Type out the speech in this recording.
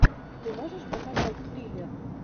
ты можешь показать триллер